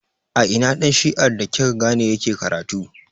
A ina ɗan shi'ar da kika gane yake karatu?